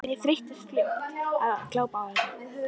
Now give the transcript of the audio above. En ég þreyttist fljótt á að glápa á þetta.